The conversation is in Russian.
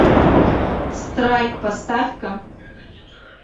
страйк поставь ка